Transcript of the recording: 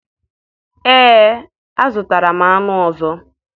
Ee, azụtara m anụ ọzọ